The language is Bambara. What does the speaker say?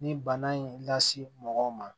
Ni bana in lase mɔgɔw ma